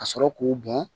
Ka sɔrɔ k'o bɔn